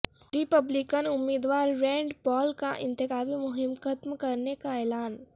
ری پبلکن امیدوار Rand Paul کا انتخابی مہم ختم کرنے کا اعلان